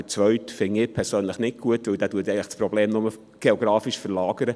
Den zweiten Punkt finde ich persönlich nicht gut, weil er das Problem nur geografisch verlagert.